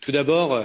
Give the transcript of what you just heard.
Tout d'abord,